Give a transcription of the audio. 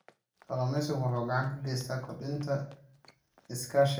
Kalluumeysigu wuxuu gacan ka geystaa kordhinta iskaashiga gobolka.